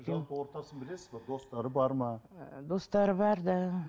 жалпы ортасын білесіз бе достары бар ма ы достары бар да